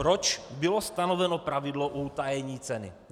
Proč bylo stanoveno pravidlo o utajení ceny?